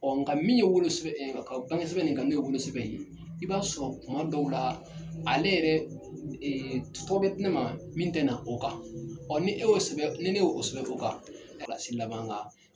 Ɔ nka min ye wolosɛbɛn bangesɛbɛn nin kan n'o ye wolosɛbɛn in i b'a sɔrɔ kuma dɔw la ale yɛrɛ tɔgɔ bɛ di ne ma min tɛ na o kan ɔ ni ne e ye o sɛbɛn ni ne ye o sɛbɛn o kan kilasi laban ka